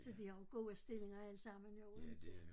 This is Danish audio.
Så de har jo gode stillinger allesammen jo inte